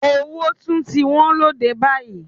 Owó tún ti wọ́n lóde báyìí.